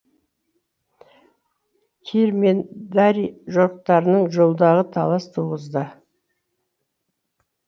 кир мен дарий жорықтарының жолдары талас туғызды